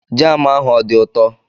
Jam ahụ ọ dị ụtọ?